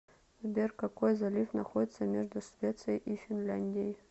сбер какой залив находится между швецией и финляндией